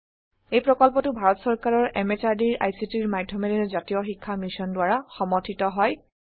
এই প্ৰকল্পটো ভাৰত সৰকাৰৰ এমএচআৰডি এৰ আইসিটিৰ মাধ্যমেৰে জাতীয় শিক্ষা মিশন দ্বাৰা সমৰ্থিত